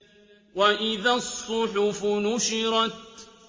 وَإِذَا الصُّحُفُ نُشِرَتْ